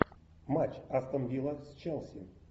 матч астон вилла с челси